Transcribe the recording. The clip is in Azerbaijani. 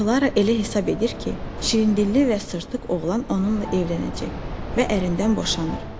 Klara elə hesab edir ki, şirindilli və sırtıq oğlan onunla evlənəcək və ərindən boşanır.